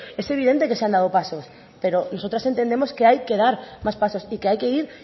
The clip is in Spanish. es evidente que se han dado pasos pero nosotras entendemos que hay que dar más pasos y que hay que ir